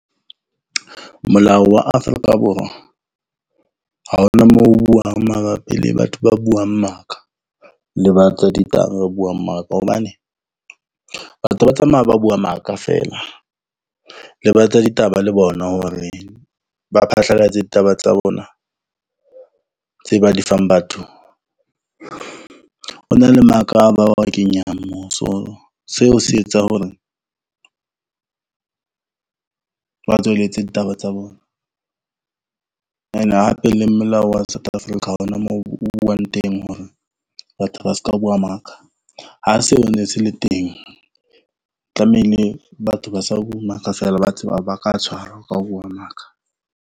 Molao wa Afrika Borwa ha hona moo buang mabapi le batho ba buang maka le ba buang maka, hobane batho ba tsamaya ba bua maka feela. Le ba tsa ditaba le bona, hore ba phatlalatse ditaba tsa bona tse ba di fang batho. Ho na le maka ba wa kenyang moo so seo se etsa hore ba tswelletse ditaba tsa bona. Ene hape le molao wa South Africa. Ha hona moo o buwang teng hore batho ba ska bua maka. Ha seo ne se le teng, tlamehile batho ba sa bue maka ba ka tshwarwa ka ho bua maka.